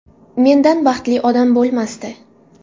Mendan baxtli odam bo‘lmasdi.